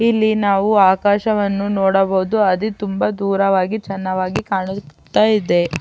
ಇಲ್ಲಿ ನಾವು ಆಕಾಶವನ್ನು ನೋಡಬಹುದು ಅದು ತುಂಬಾ ದೂರವಾಗಿ ಚನ್ನಾವಾಗಿ ಕಾಣುತ್ತಾ ಇದೆ.